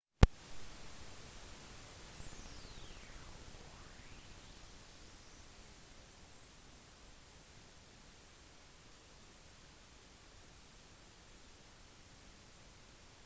tyskland begynte å gjøre seg klare til å invadere storbritannia da kampen om frankrike var over